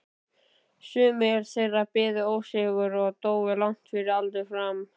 Sumir þeirra biðu ósigur og dóu langt fyrir aldur fram.